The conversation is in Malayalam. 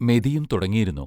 മെതിയും തുടങ്ങിയിരുന്നു.